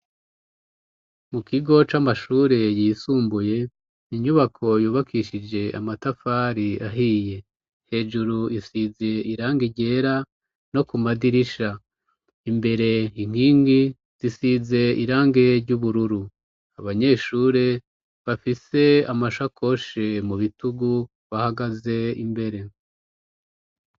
Mu kigo c'amashure yisumbuye inyubako yubakishije amatafari ahiye, hejuru isize irange ryera no ku madirisha imbere inkingi zisize irange ry'ubururu, abanyeshure bafise amashakoshe mu bitugu bahagaze imbere.